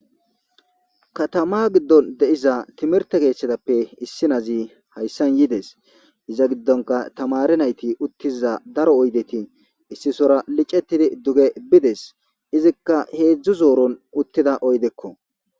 katama giddon de7iza timirte keeththetappe issi nazi hayssan yides iza giddonka tamare nayti uttiza daro oydeti issi sora licetidi duge bides izikka heedzdzu zooron uttida oydekko